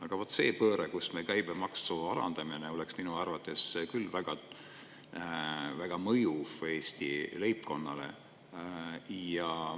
Aga vaat see pööre, kus me käibemaksu alandame, oleks minu arvates küll väga mõjuv Eesti leibkonnale.